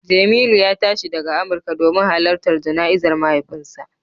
Jemilu ya tashi daga Amurka domin halartar jana'izar mahaifinsa